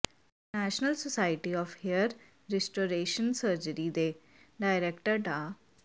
international society of hair restoration surgery ਦੇ director ਡਾ